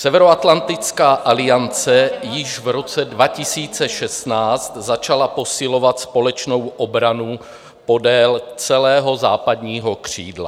Severoatlantická aliance již v roce 2016 začala posilovat společnou obranu podél celého západního křídla.